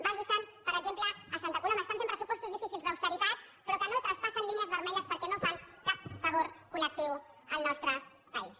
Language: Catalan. vagi se’n per exemple a santa coloma estan fent pressupostos difícils d’austeritat però que no traspassen línies vermelles perquè no fan cap favor col·lectiu al nostre país